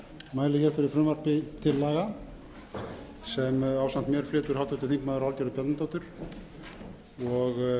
fyrir frumvarpi til laga sem ásamt mér flytur háttvirtur þingmaður valgerður bjarnadóttir það telst vera um breytingu á